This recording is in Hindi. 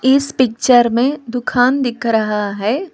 इस पिक्चर में दुकान दिख रहा है।